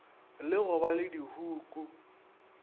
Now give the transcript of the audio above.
le go ba le dihuku